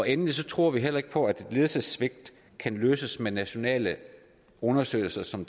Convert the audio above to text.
endelig tror vi heller ikke på at ledelsessvigt kan løses med nationale undersøgelser som